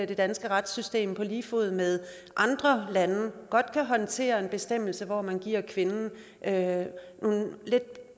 det danske retssystem på lige fod med andre landes godt kan håndtere en bestemmelse hvor man giver kvinden nogle lidt